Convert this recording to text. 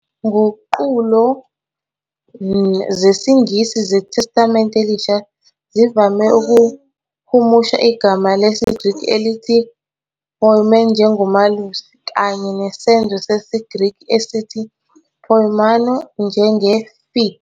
Nguqulo zesiNgisi zeTestamente Elisha zivame ukuhumusha igama lesiGreki elithi, "poimēn", njengo "malusi" kanye nesenzo sesiGreki esithi, "poimainō", njenge- "feed".